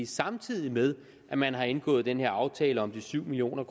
samtidig med at man har indgået den her aftale om de syv million